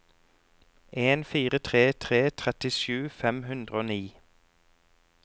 en fire tre tre trettisju fem hundre og ni